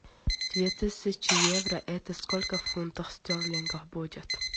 две тысячи евро это сколько фунтов стерлингов будет